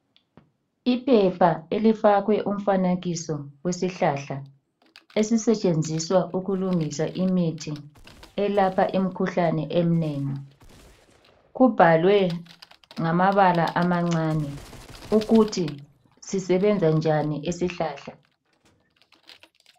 Iphepha elifakwe umfanekiso wesihlahla elisetshenziswa ukulungisa elapha imkhuhlane eminengi kubhalwe ngamabala amancane ukuthi sisebenza njani isihlahla